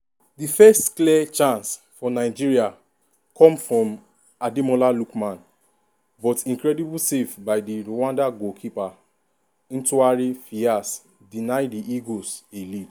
di first clear chance for nigeria come from ademola lookman but incredible save by di rwanda goalkeeper ntwari fiarce deny di eagles a lead.